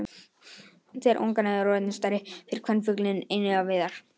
Þegar ungarnir eru orðnir stærri fer kvenfuglinn einnig á veiðar.